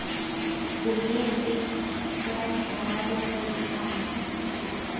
boleele jwa dikarabo gore palo